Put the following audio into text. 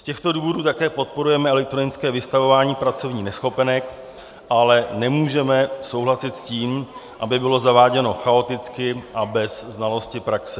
Z těchto důvodů také podporujeme elektronické vystavování pracovních neschopenek, ale nemůžeme souhlasit s tím, aby bylo zaváděno chaoticky a bez znalosti praxe.